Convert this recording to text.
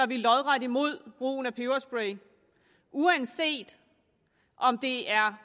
vi lodret imod brugen af peberspray uanset om det er